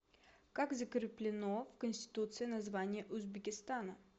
как закреплено в конституции название узбекистана